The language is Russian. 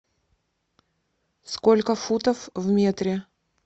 сколько футов в метре